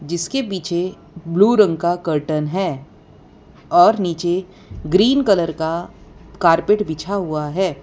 जिसके पीछे ब्लू रंग का कर्टन है और नीचे ग्रीन कलर का कारपेट बिछा हुआ है।